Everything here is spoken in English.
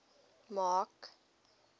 mark